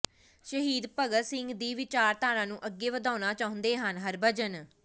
ਸ਼ਹੀਦ ਭਗਤ ਸਿੰਘ ਦੀ ਵਿਚਾਰਧਾਰਾ ਨੂੰ ਅੱਗੇ ਵਧਾਉਣਾ ਚਾਹੁੰਦੇ ਹਨ ਹਰਭਜਨ